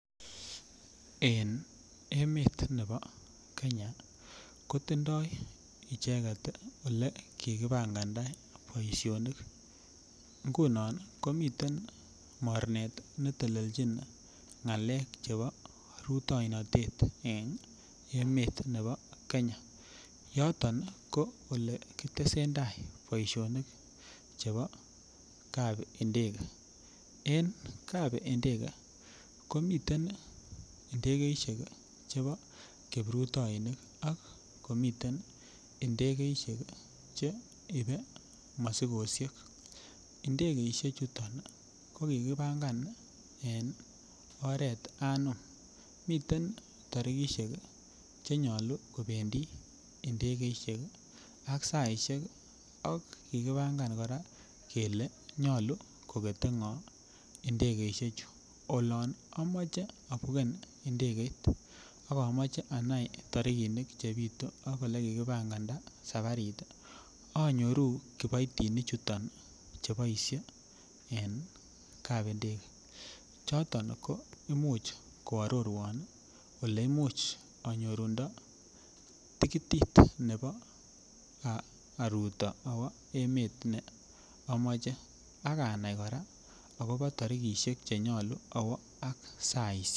En emet ne bo kenya kotindoo icheket ole kikipanganda boisionik ingunon komiten mornet netelelchin ng'alek che bo rutoinotet en emet ne bo kenya yoton ii ko olekitesen tai boisionik che bo kapndegee.en kap ndegee komiten ndegeisiek chebo kiprutoinik ,komiten ndegeisiek che ibe mosikosiek ,ndegeisichuton ko kikipangan en oret anom miten tarikisiek chenyolu kobendi ndegeisiek ak saisiek ak kikipangan kora kele nyolu koketee ng'o ndegeisiechu ,olon amoche abuken ndegeit, akomoche anai tarikinik chebitu ak ole kikipangandaa sabarit ii anyoru kiboitinichuton chu boisie en kapndege choto ko imuch koarorwon ole imuch anyorundo tikitit nebo aruto awoo emet nee amoche akanai kora akobo tarikisiek chenyolu awoo ak saisiek.